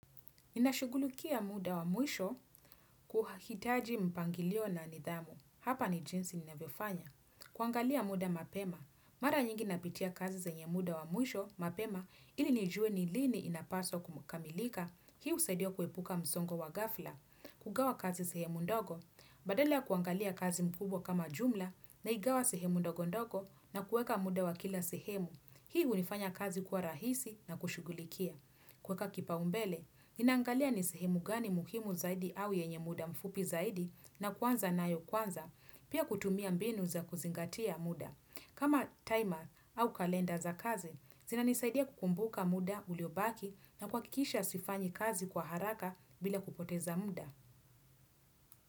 Ninashugulukia muda wa mwisho kuhitaji mpangilio na nidhamu. Hapa ni jinsi ninavyiofanya. Kuangalia muda mapema. Mara nyingi napitia kazi zenye muda wa mwisho mapema ili nijue nilini inapaswa kukamilika. Hii husaidio kuepuka msongo wa ghafla. Kugawa kazi sehemu ndogo. Badala ya kuangalia kazi mkubwa kama jumla na igawa sehemu ndogo ndogo na kueka muda wa kila sehemu. Hii huifanya kazi kuwa rahisi na kushugulikia. Kueka kipa umbele. Ninaangalia nisehimu gani muhimu zaidi au yenye muda mfupi zaidi na kwanza na yo kwanza, pia kutumia mbinu za kuzingatia muda. Kama timer au kalenda za kazi, zina nisaidia kukumbuka muda uliobaki na kuhakikisha sifanyi kazi kwa haraka bila kupoteza muda.